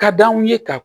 Ka d'anw ye ka